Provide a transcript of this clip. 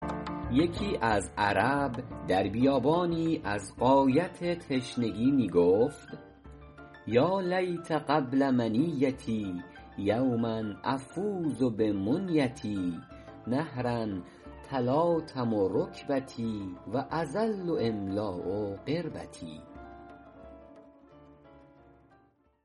یکی از عرب در بیابانی از غایت تشنگی می گفت یا لیت قبل منیتي یوما أفوز بمنیتي نهرا تلاطم رکبتي و أظل أملأ قربتي